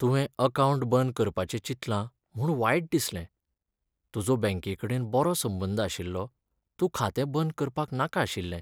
तुवें अकावंट बंद करपाचें चिंतलां म्हूण वायट दिसलें. तुजो बँकेकडेन बरो संबंद आशिल्लो, तूं खातें बंद करपाक नाका आशिल्लें.